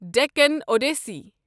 ڈٮ۪کن اوٚڈسٕے